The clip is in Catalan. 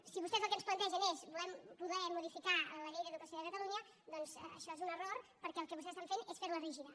si vostès el que ens plantegen és voler modificar la llei d’educació de catalunya doncs això és un error perquè el que vostès estan fent és fer la rígida